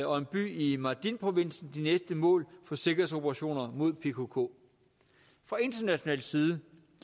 og en by i mardinprovinsen de næste mål for sikkerhedsoperationer mod pkk fra international side